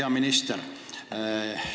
Hea minister!